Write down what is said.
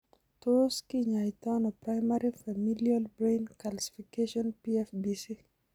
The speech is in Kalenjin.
Tot kinyaitaano primary familial brain calcification PFBC?